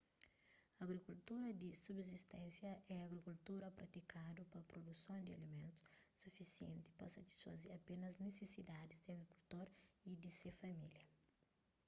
agrikultura di subsisténsia é agrikultura pratikadu pa pruduson di alimentus sufisienti pa satisfaze apénas nisisidadis di agrikultor y di se família